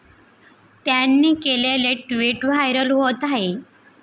त्यांनी केलेलेे tweet viral होत आहे.